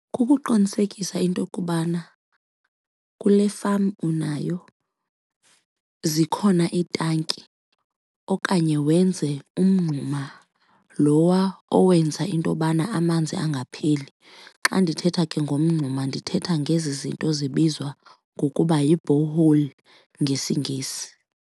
Kukuqinisekisa intokubana kule farm unayo zikhona iitanki okanye wenze umngxuma lowa owenza intobana amanzi angapheli. Xa ndithetha ke ngomngxuma ndithetha ngezi zinto zibizwa ngokuba yi-borehole ngesiNgesi.